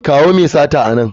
Kawo mai sata a nan!